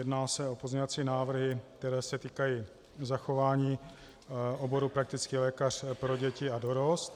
Jedná se o pozměňovací návrhy, které se týkají zachování oboru praktický lékař pro děti a dorost.